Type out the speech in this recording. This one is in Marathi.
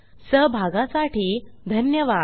सहभागासाठी धन्यवाद